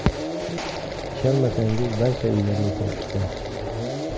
Ishonmasangiz barcha uylarga kirib chiqing.